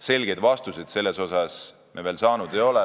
Selgeid vastuseid me veel saanud ei ole.